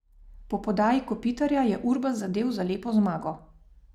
Po podaji Kopitarja je Urbas zadel za lepo zmago.